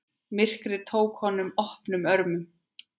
Myrkrið tók honum opnum örmum.